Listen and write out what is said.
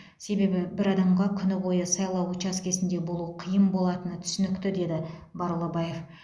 себебі бір адамға күні бойы сайлау учаскесінде болу қиын болатыны түсінікті деді барлыбаев